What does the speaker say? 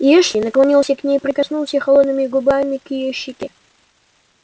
и эшли наклонился к ней и прикоснулся холодными губами к её щеке